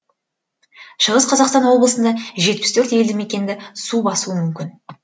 шығыс қазақстан облысында жетпіс төрт елді мекенді су басуы мүмкін